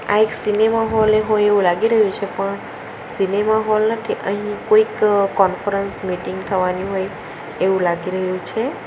આ એક cinema hall એ હોય એવું લાગી રહ્યું છે પણ સિનેમા હોલ નથી અહીં કોઈક કોન્ફરન્સ મીટીંગ થવાની હોય એવું લાગી રહ્યું છે.